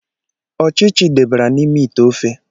Ọchịchị debara n’ime ite ofe